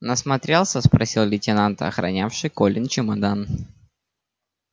насмотрелся спросил лейтенант охранявший колин чемодан